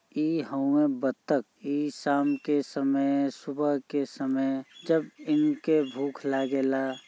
ई हउए बत्तख ई शाम के समय सुबह के समय जब इनके भूख लागेला--